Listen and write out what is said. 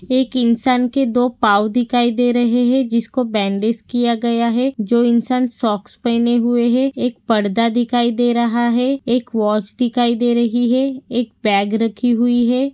एक इंसान के दो पाव दिखाई दे रहे है जिसको बैंडज किया गया है जो इंसान सॉक्स पहने हुए है एक पडदा दिखाई दे रहा है एक वॉच दिखाई दे रही है एक बैग रखी हुई है।